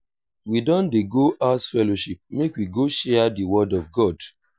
we don dey go house fellowship make we go share di word of god.